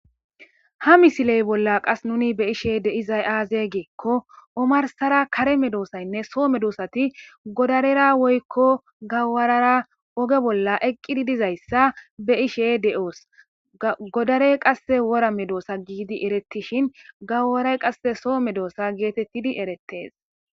Ha misile bollan qaese beyishe dizaysi aze gikko Omar Sara kare medosaynne so medoaynne gidararera woyko gawarara oge bolla eqi dizaysa beyishe de'os godarey qase wora medosa gidi eretishin gawarayi qase so medosa getetidi eretese